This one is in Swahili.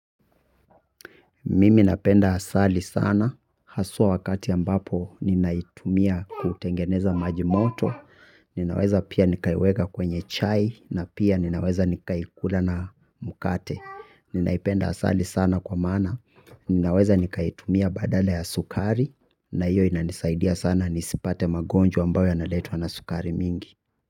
Mimi napenda asali sana, haswa wakati ambapo ninaitumia kutengeneza maji moto, ninaweza pia nikaiweka kwenye chai, na pia ninaweza nikaikula na mkate. Ninaipenda asali sana kwa maana, ninaweza nikaitumia badala ya sukari, na hiyo inanisaidia sana nisipate magonjwa ambayo yanaletwa na sukari mingi.